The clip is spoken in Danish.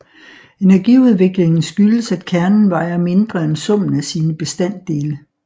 Energiudviklingen skyldes at kernen vejer mindre end summen af sine bestanddele